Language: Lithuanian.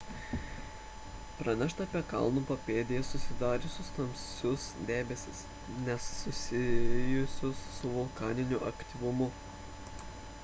pranešta apie kalno papėdėje susidariusius tamsius debesis nesusijusius su vulkaniniu aktyvumu